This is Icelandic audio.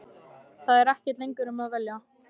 Það er ekkert lengur um að velja.